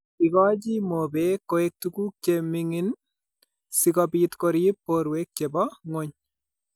Igoochi mobeek koek tuguuk che ming'in, si kobiit koriip poorwek che po ng'wony.